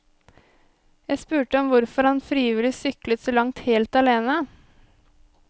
Jeg spurte om hvorfor han frivillig syklet så langt helt alene.